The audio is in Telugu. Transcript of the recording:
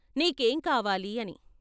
"నీకేం కావాలి " అని.